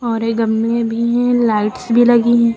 और ये गमले भी है लाइट्स भी लगी है।